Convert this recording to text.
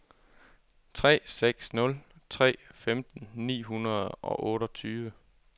tre seks nul tre femten ni hundrede og otteogtyve